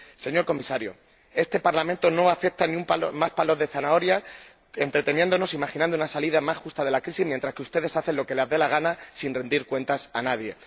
Señor Comisario, este Parlamento no acepta más palos de zanahoria, entreteniéndonos, imaginando una salida más justa de la crisis, mientras que ustedes hacen lo que les da la gana, sin rendir cuentas a nadie.